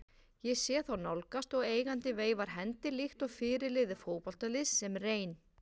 Ég sé þá nálgast og eigandinn veifar hendi líkt og fyrirliði fótboltaliðs sem reyn